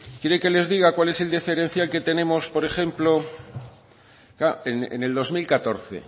quieren que les diga cuál es el diferencial que tenemos por ejemplo en el dos mil catorce